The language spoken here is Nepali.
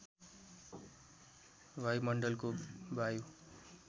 वायुमण्डलको वायु